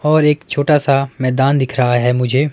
और एक छोटा सा मैदान दिख रहा है मुझे--